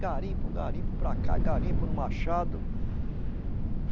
Garimpo, garimpo para cá, garimpo no Machado.